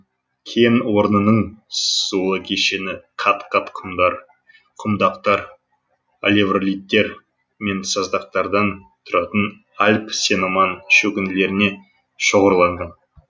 кен орнының сулы кешені қат қат құмдар құмдақтар алевролиттер мен саздақтардан тұратын альб сеноман шөгінділеріне шоғырланған